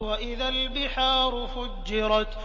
وَإِذَا الْبِحَارُ فُجِّرَتْ